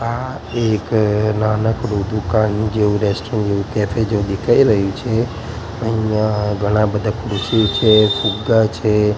આ એક નાનકડુ દુકાન જેવું કેફે જેવું દેખાય રહ્યું છે અહીંયા ઘણા બધા ખુરશી છે ફુગ્ગા છે.